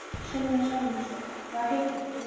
Sunna Sæmundsdóttir: Hvað heitir þú?